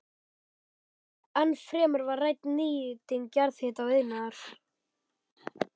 Ennfremur var rædd nýting jarðhita til iðnaðar.